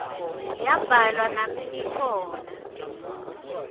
yabhalwa nami ngikhona